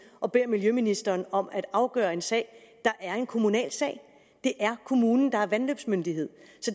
og beder miljøministeren om at afgøre en sag der er en kommunal sag det er kommunen der er vandløbsmyndighed